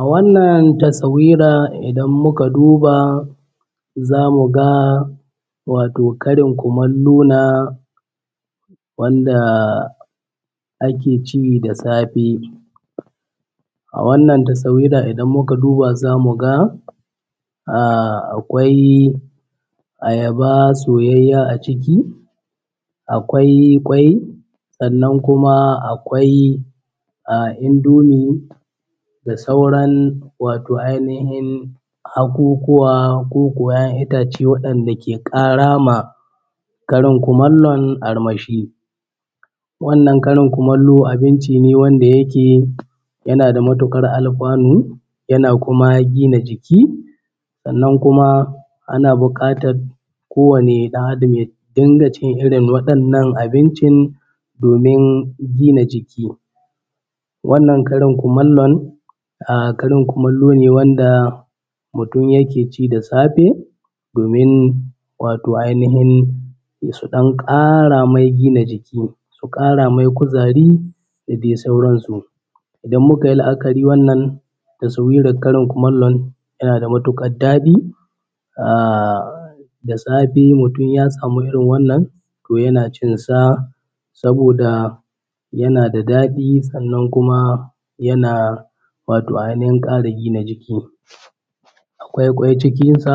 A wannan taswari idan muka duba za mu ga karin kumallona wanda ake ci da safe. A wannan taswira za mu ga akwai ayaba soyayya a ciki, akwai kwai sannan kuma akwai indomie da sauran ainihin haƙuƙuwa ko kuwa 'ya'yan itace wanda ke ƙara ma karin kumallon armashi wannan karin kumallo abinci ne wanda yake yana da matuƙar alfanu yana kuma gida jiki. Sannan kuma ana buƙatar kowabne ɗan Adam ya dinga cikin irin waɗannan abincin domin gina jikin. Wannan karin kumallon karin kumallo ne wanda mutum yake ci da safe domin ainihin su ɗan ƙara mai gina jiki su kara mai kuzari da dai sauransu. Idan muka yi la'akari taswirar karin kumallo yana da matuƙar daɗi, da safe mutum ya sama iri. Wann yana cinsa saboda yana da daɗi, sannan kuma yana wato.ainihin ƙara gina jiki. Wato akwai kwai cikinsa